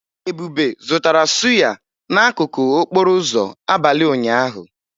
Ebube zụtara sụ́yá n'akụkụ okporo ụzọ abalị ụnyaahụ.